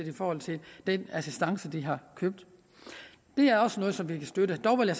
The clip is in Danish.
i forhold til den assistance de har købt det er også noget som vi kan støtte dog vil